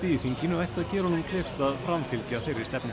í þinginu ætti að gera honum kleift að framfylgja þeirri stefnu